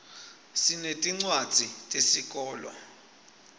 sinetincwadzi tesikolo